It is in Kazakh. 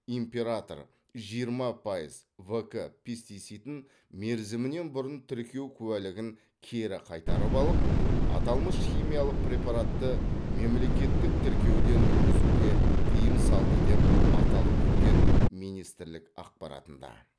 император жиырма пайыз в к пестицидін мерзімінен бұрын тіркеу куәлігін кері қайтарып алып аталмыш химиялық препаратты мемлекеттік тіркеуден өткізуге тыйым салды деп аталып өткен министрлік ақпаратында